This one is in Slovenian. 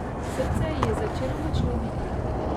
Srce ji je začelo močno biti.